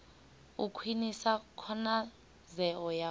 u khwinisa khonadzeo ya u